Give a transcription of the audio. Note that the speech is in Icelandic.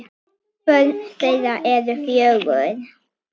Börn þeirra eru fjögur.